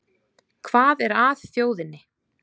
Hvað er að þjóðinni